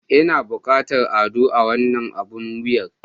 Ina buƙatar ado a wannan abun wuyar.